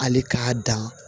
Hali k'a dan